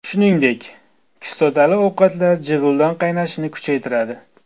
Shuningdek, kislotali ovqatlar jig‘ildon qaynashini kuchaytiradi.